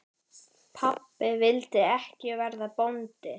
Pabbi vildi ekki verða bóndi.